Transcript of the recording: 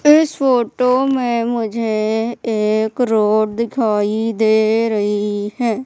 इस फोटो में मुझे एक रोड दिखाई दे रही हैं।